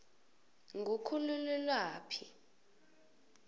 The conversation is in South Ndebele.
ngukhulelwaphi